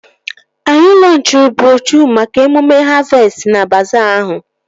Anyị lọnchịrị broshuo maka emume havestị na baazaa ahụ